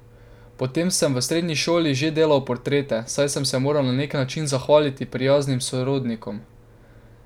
Potem sem v srednji šoli že delal portrete, saj sem se moral na neki način zahvaliti prijaznim sorodnikom.